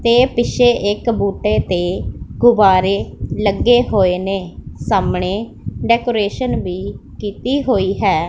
ਤੇ ਪਿੱਛੇ ਇੱਕ ਬੂਟੇ ਤੇ ਗੁਬਾਰੇ ਲੱਗੇ ਹੋਏ ਨੇਂ ਸਾਹਮਣੇ ਡੈਕੋਰੇਸ਼ਨ ਵੀ ਕੀਤੀ ਹੋਈ ਹੈ।